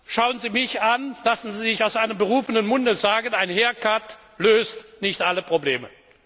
Schauen Sie mich an, lassen Sie sich aus einem berufenen Munde sagen, ein hair cut löst nicht alle Probleme.